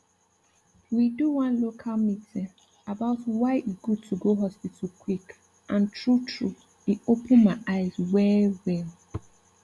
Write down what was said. we do one local meeting about why e good to go hospital quick and true true e open my eyes well well